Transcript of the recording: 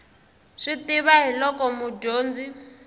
swi tiva hi loko mudyondzi